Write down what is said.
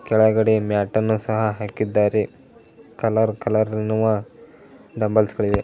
ಕೆಳಗಡೆ ಮ್ಯಾಟ್ ಅನ್ನು ಸಹ ಹಾಕಿದರೆ ಕಲರ್ ಕಲರ್ ಅನ್ನುವ ಡಂಬೆಲ್ಸಗಲಿದೆ.